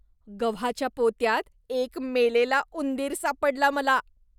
गव्हाच्या पोत्यात एक मेलेला उंदीर सापडला मला.